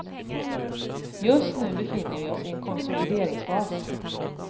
Just nu befinner vi oss i en konsolideringsfas.